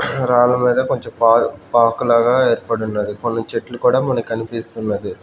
రాళ్ళు మీద కొంచెం పా పాకులాగా ఏర్పడున్నది కొన్ని చెట్లు కూడా మనకనిపిస్తున్నది.